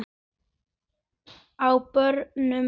Á barnum!